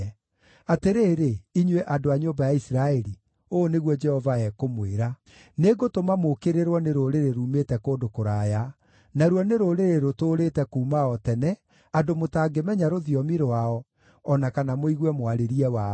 Atĩrĩrĩ, inyuĩ andũ a nyũmba ya Isiraeli,” ũũ nĩguo Jehova ekũmwĩra, “nĩngũtũma mũũkĩrĩrwo nĩ rũrĩrĩ ruumĩte kũndũ kũraya: naruo nĩ rũrĩrĩ rũtũũrĩte kuuma o tene, andũ mũtangĩmenya rũthiomi rwao, o na kana mũigue mwarĩrie wao.